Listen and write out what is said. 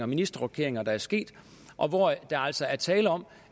ministerrokeringer der er sket og hvor der altså er tale om